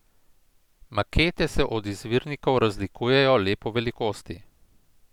Makete se od izvirnikov razlikujejo le po velikosti.